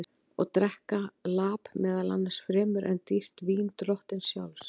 Og drekka lap meðal manna fremur en dýrt vín drottins sjálfs?